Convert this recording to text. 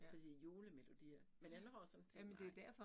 Fordi julemelodier men jeg når sådan tænke nej